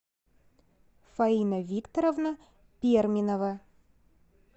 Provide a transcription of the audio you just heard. фаина викторовна перминова